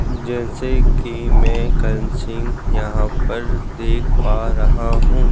जैसे कि मैं करण सिंह यहां पर देख पा रहा हूं।